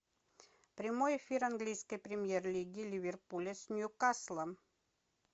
прямой эфир английской премьер лиги ливерпуля с ньюкаслом